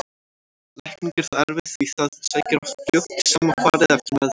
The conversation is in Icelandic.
Lækning er þó erfið því það sækir oft fljótt í sama farið eftir meðferð.